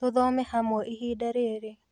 Tũthome hamwe ihinda rĩrĩ